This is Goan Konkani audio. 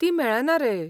ती मेळना रे.